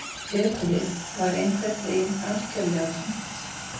Höfuðið var einhvern veginn algjörlega tómt